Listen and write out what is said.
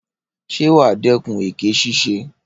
Ṣé wàá dẹ́kun èké ṣíṣe?